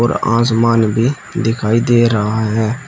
और आसमान भी दिखाई दे रहा है।